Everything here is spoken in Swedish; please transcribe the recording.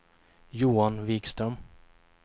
Johan Vikström